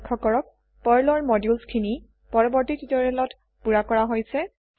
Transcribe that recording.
লখ্য কৰকঃ পাৰ্ল ৰ মডিউলছ খিনি পৰবৰ্তি তিওতৰিয়েলত পুৰা কৰা হৈছে